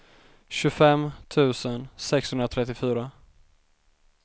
tjugofem tusen sexhundratrettiofyra